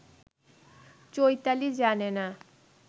চৈতালি জানে না